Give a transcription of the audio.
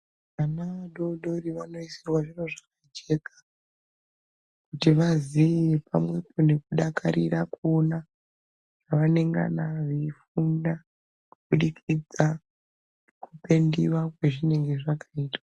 Vana vadodori vanoisirwa zviro zvakajeka kuti vaziye pamwepo nekudakarira kuona pavanengana veifunda kubudikidza nekupendiwa kwezvinenge zvakaitwa.